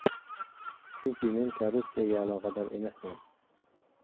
Chunki men korrupsiyaga aloqador emasman.